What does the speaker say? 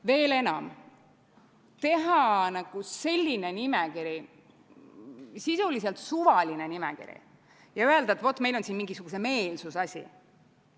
Veel enam, teha selline nimekiri, sisuliselt suvaline nimekiri, ja öelda, et vot, meil on siin mingisuguse meelsuse asi.